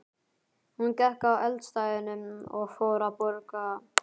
Hún gekk að eldstæðinu og fór að bogra þar.